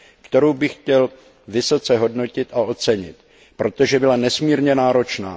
kterou bych chtěl vysoce hodnotit a ocenit, protože byla nesmírně náročná.